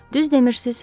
Düz demirsiz.